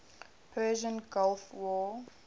persian gulf war